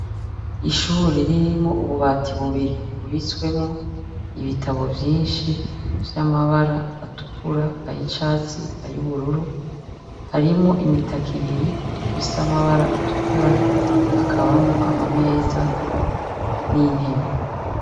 Ishure ririmwo ububati bubiri, bubitswemo ibitabo vyinshi vy’amabara atukura, ayicatsi, ayubururu. Harimo imitako ibiri ifite amabara atukura, hakabamwo amameza n’intebe.